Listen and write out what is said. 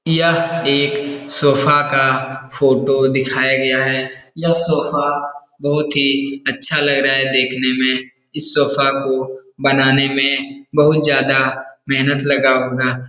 यह एक सोफा का फ़ोटो दिखाया गया है यह सोफा बहुत ही अच्छा लग रहा है देखने में इस सोफा को बनाने में बहुत ज्यादा मेहनत लगा होगा।